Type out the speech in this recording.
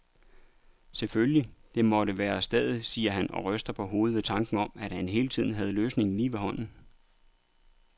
Selvfølgelig, det måtte være stedet, siger han og ryster på hovedet ved tanken om, at han hele tiden havde løsningen lige ved hånden.